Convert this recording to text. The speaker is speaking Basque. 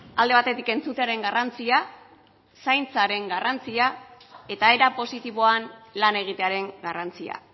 alde batetik entzutearen garrantzia zaintzaren garrantzia eta era positiboan lan egitearen garrantzia